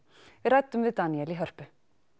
við ræddum við Daníel í Hörpu